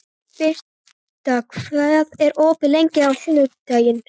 Birta, hvað er opið lengi á sunnudaginn?